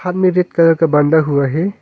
हाथ में red colour का बांधा हुआ है।